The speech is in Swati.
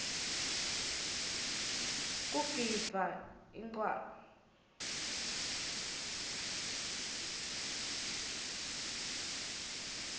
kugidvwa incwala